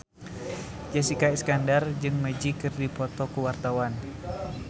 Jessica Iskandar jeung Magic keur dipoto ku wartawan